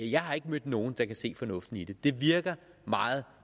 jeg har ikke mødt nogen der kan se fornuften i det og det virker meget